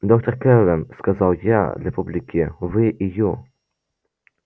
доктор кэлвин сказал я для публики вы и ю